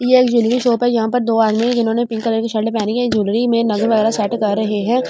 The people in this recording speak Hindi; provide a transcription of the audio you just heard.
ये एक ज्वेलरी शॉप है यहां पर दो आदमी है जिन्होंने पिंक कलर की शर्ट पहनी है ज्वेलरी में नग वगैरा सेट कर रहे हैं और इसमें शी।